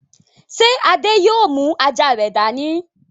Ṣé Adé yóò yóò mú àjà rẹ̀ dání?